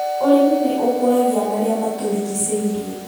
Ũrĩmi nĩ ũkũragia marĩa matũrigicĩirie